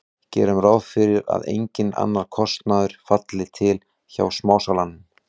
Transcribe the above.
Gerum ráð fyrir að enginn annar kostnaður falli til hjá smásalanum.